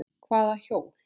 Hvaða hjól?